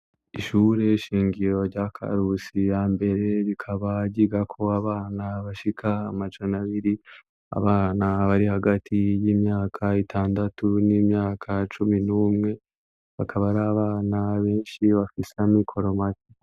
Ishure shingiro rya Karusi ya mbere, rikaba ryigako abana bashika amajana abiri; abana bari hagati y'imyaka itandatu n'imyaka cumi n'umwe; bakaba ari abana benshi bafise amikoro make.